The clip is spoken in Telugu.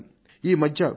ఈ రోజులలో కొన్ని టి